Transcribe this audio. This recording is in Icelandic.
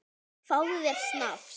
Fáðu þér snafs!